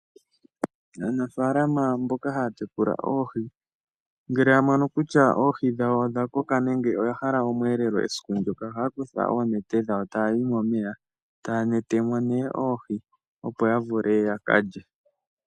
Aanafalama mboka haya tekula oohi ngele ya mono kutya oohi dhawo odha koka nenge oya hala osheelelwa esiku ndyoka oha ya kutha oonete dhawo taya yi momeya taya netemo nee oohi opo ya vule ya kalye.